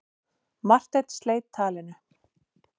Marteinn sleit talinu.